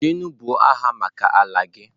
jenu buo agha maka ala gi!